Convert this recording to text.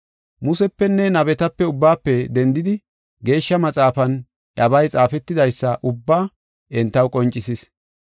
Musepenne nabeta ubbaafe dendidi Geeshsha Maxaafan iyabay xaafetidaysa ubbaa entaw qoncisis.